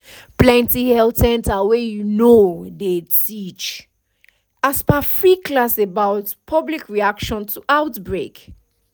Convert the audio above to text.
plenty health center wey you know dey teach um free class about public reaction to outbreak